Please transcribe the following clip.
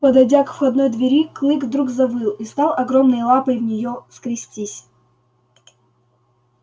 подойдя к входной двери клык вдруг завыл и стал огромной лапой в неё скрестись